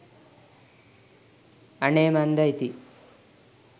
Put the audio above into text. අනේ මන්දා ඉතින්